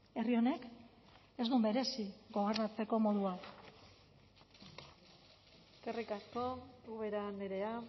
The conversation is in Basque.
herri honek ez du merezi gobernatzeko modu hau eskerrik asko ubera andrea